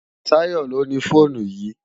Tayo ló ni fónú yi